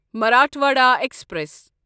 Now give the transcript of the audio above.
Marathwada express